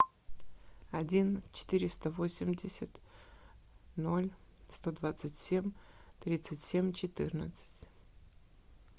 один четыреста восемьдесят ноль сто двадцать семь тридцать семь четырнадцать